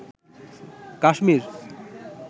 Kashmir